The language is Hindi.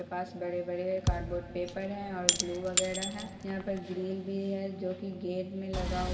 पास बड़े-बड़े कार्ड -बोर्ड पेपर है और ग्लू वगैरा है यहाँ पर ग्रिल भी है जो की गेट में लगा --